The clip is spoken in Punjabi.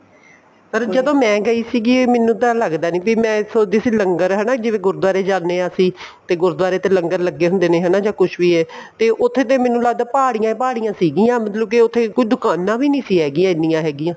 ਪਰ ਜਦੋਂ ਮੈਂ ਗਈ ਸੀਗੀ ਮੈਨੂੰ ਤਾਂ ਲੱਗਦਾ ਨਹੀਂ ਵੀ ਮੈਂ ਸੋਚ ਦੀ ਸੀ ਵੀ ਲੰਗਰ ਹਨਾ ਜਿਵੇਂ ਗੁਰੂਦਆਰੇ ਜਾਂਦੇ ਹਾਂ ਅਸੀਂ ਗੁਰੂਦਆਰੇ ਤਾਂ ਲੰਗਰ ਲੱਗੇ ਹੁੰਦੇ ਨੇ ਹੈਨਾ ਜਾਂ ਕੁੱਛ ਵੀ ਏ ਤੇ ਉੱਥੇ ਤੇ ਮੈਨੂੰ ਲੱਗਦਾ ਪਹਾੜੀਆਂ ਹੀ ਪਹਾੜੀਆਂ ਸੀਗੀਆਂ ਮਤਲਬ ਕੀ ਉੱਥੇ ਕੋਈ ਦੁਕਾਨਾਂ ਵੀ ਸੀ ਨਹੀਂ ਹੈਗੀਆਂ ਐਨੀਆਂ ਹੈਗੀਆ